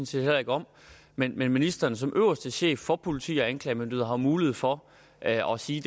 set heller ikke om men men ministeren som øverste chef for politi og anklagemyndighed har jo mulighed for at at sige